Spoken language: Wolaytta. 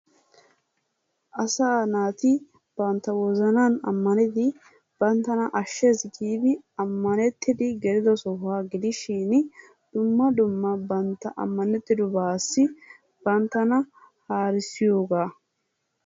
Asaa naati banttaa wozannani amanettidi, bantanna ashees giddi amannetidi gelido sohuwaa gidishin dumma dumma banttaa amanettidobassi banttanna harisiyoggaa.